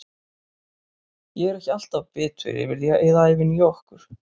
Ég er ekki alltaf bitur yfir því að eyða ævinni í okkur.